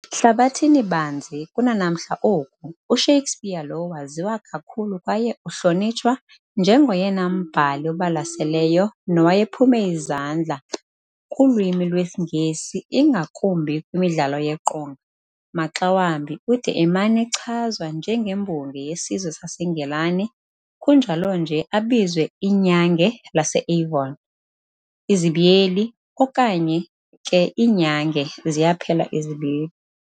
Hlabathini-banzi, kunanamhla oku, uShakespeare lo waziwa kakhulu kwaye uhlonitshwa njengoyena mbhali ubalaseleyo nowayephume izandla kulwimi lwesiNgesi, ingakumbi kwimidlalo yeqonga. Maxa wambi ude emana echazwa njengembongi yesizwe saseNgilani, kunjalonje abizwe "iNyange lase-Avon", okanye ke "iNyange".